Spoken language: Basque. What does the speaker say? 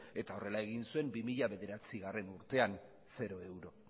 eta horrela egin zuen bi mila bederatzigarrena urtean zero euro